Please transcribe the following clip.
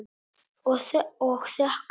Og þökkum.